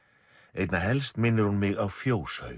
einna helst minnir hún mig á